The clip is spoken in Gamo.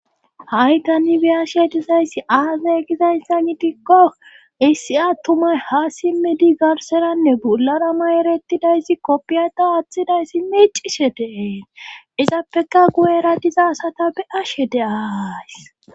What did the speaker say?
haitani biyashe dizayssi aazay gizayssa gidikko issi attumay ha simmidi garseranne bularama erettidayssi koppiyata woththidayssi micishe deessi izappeka guyera diza asata be ashe deays